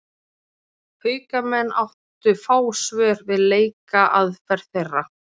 Haukamenn áttu fá svör við leikaðferð þeirra.